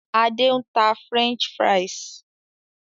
Adé ń tà "French fries".